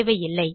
தேவையில்லை